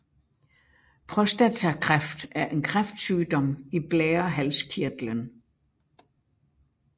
Prostatakræft er en kræftsygdom i blærehalskirtlen